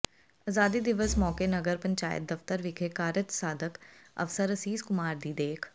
ਅਜ਼ਾਦੀ ਦਿਵਸ ਮੌਕੇ ਨਗਰ ਪੰਚਾਇਤ ਦਫ਼ਤਰ ਵਿਖੇ ਕਾਰਜ ਸਾਧਕ ਅਫ਼ਸਰ ਅਸੀਸ ਕੁਮਾਰ ਦੀ ਦੇਖ